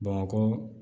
Bamakɔ